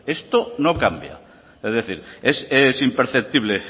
esto no cambia es decir es imperceptible